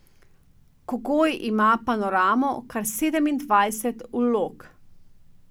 Kogoj ima panoramo kar sedemindvajset vlog.